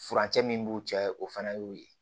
Furancɛ min b'u cɛ ye o fana y'o ye